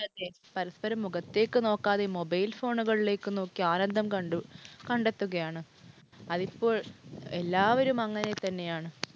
പരസ്പരം മുഖത്തേക്ക് നോക്കാതെ mobile phone ഉകളിലേക്ക് നോക്കി ആനന്ദം കണ്ടെത്തുകയാണ്. അതിപ്പോൾ എല്ലാവരും അങ്ങനെ തന്നെയാണ്